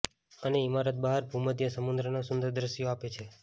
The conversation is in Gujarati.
અને ઇમારત બહાર ભૂમધ્ય સમુદ્રના સુંદર દૃશ્યો આપે છે